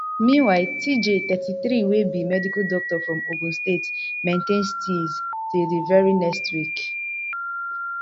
meanwhile tjay thirty-three wey be medical doctor from ogun state maintain steeze till di very next week